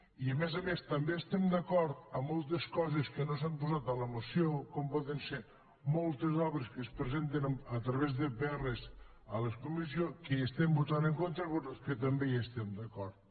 i a més a més també estem d’acord amb moltes coses que no s’han posat a la moció com poden ser moltes obres que es presenten a través de pr a les comissions que hi estem votant en contra però que també hi estem d’acord